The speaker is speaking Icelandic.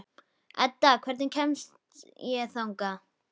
Edda, hvernig kemst ég þangað?